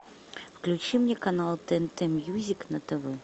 включи мне канал тнт мьюзик на тв